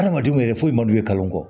Adamadenw yɛrɛ foyi man d'u ye kalo kɔ